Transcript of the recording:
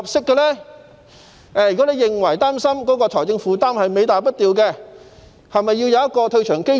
如果他擔心財政負擔是尾大不掉，是否要設立一個退場機制？